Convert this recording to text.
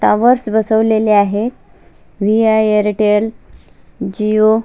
Towers बसवलेले आहे VI. Airtel Jio .